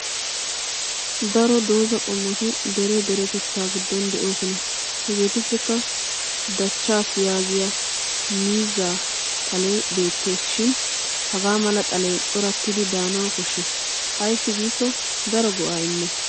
Daro doozza qommoti dere deretettaa giddon de'oosona. Hageetuppekka dachchas yaagiyo miizza xalee beettes shin hagaa mala xalee corattiddi daanawu koshshes ayssi giikko daro go'aa immes.